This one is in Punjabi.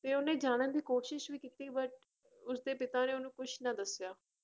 ਤੇ ਉਹਨੇ ਜਾਣਨ ਦੀ ਕੋਸ਼ਿਸ਼ ਵੀ ਕੀਤੀ but ਉਸਦੇ ਪਿਤਾ ਨੇ ਉਹਨੂੰ ਕੁਛ ਨਾ ਦੱਸਿਆ।